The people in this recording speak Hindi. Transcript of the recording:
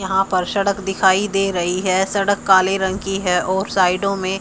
यहां पर सड़क दिखाई दे रही है सड़क काले रंग की है और साइडो में--